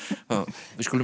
við skulum enda